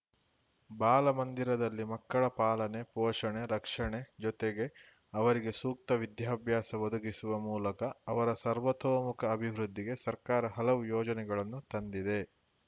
ಬಾಲಮಂದಿರದಲ್ಲಿ ಮಕ್ಕಳ ಪಾಲನೆ ಪೋಷಣೆ ರಕ್ಷಣೆ ಜೊತೆಗೆ ಅವರಿಗೆ ಸೂಕ್ತ ವಿದ್ಯಾಭ್ಯಾಸ ಒದಗಿಸುವ ಮೂಲಕ ಅವರ ಸರ್ವತೋಮುಖ ಅಭಿವೃದ್ಧಿಗೆ ಸರ್ಕಾರ ಹಲವು ಯೋಜನೆಗಳನ್ನು ತಂದಿದೆ